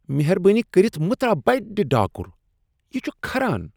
مہربٲنی کٔرتھ مٕہ ترٛاو بٕڈِ ڈاکر، یہِ چھٗ كھران ۔